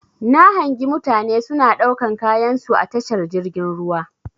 Na hangi mutane suna ɗaukan kayansu a tashar jirgin ruwa.